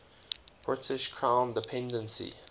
british crown dependency